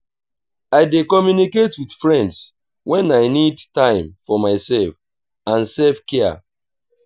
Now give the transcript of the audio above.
i dey communicate with friends wen i need time for myself and self-care.